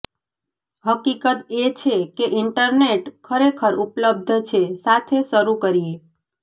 હકીકત એ છે કે ઇન્ટરનેટ ખરેખર ઉપલબ્ધ છે સાથે શરૂ કરીએ